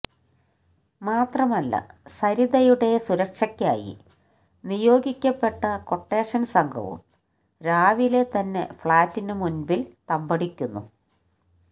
മാത്രമല്ല സരിതയുടെ സുരക്ഷയ്ക്കായി നിയോഗിക്കപ്പെട്ട ക്വട്ടേഷൻ സംഘവും രാവിലെ തന്നെ ഫ്ളാറ്റിനു മുമ്പിൽ തമ്പടിക്കുന്നു